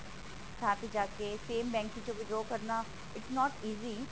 ਥਾਂ ਤੇ ਜਾਕੇ same bank ਚੋਂ withdraw ਕਰਨਾ is not easy